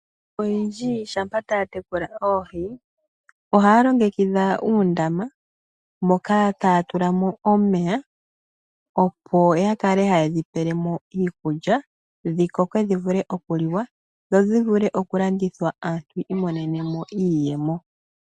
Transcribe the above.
Oyendji shampa taya tekula oohi. Ohaya longekidha uundama moka haya tula mo omeya. Opo yakale haye dhipelemo iikulya . Dhikoke dhi vule oku liwa dho dhi vule oku landithwa aantu yiimonene mo iiyemo.